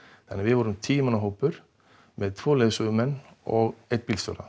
þannig að við vorum tíu manna hópur með tvo leiðsögumenn og einn bílstjóra